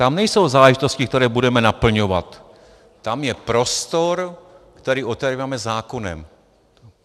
Tam nejsou záležitosti, které budeme naplňovat, tam je prostor, který otevíráme zákonem."